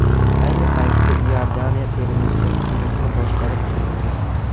Ayni paytda Iordaniya termasi guruhni boshqarib turibdi.